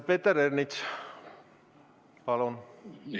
Peeter Ernits, palun!